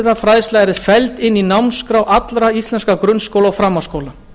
að mannréttindafræðsla yrði felld inn í námskrá allra íslenskra grunnskóla og framhaldsskóla